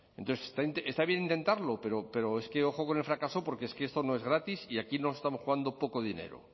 entonces está bien intentarlo pero es que ojo con el fracaso porque es que esto no es gratis y aquí no estamos jugando poco dinero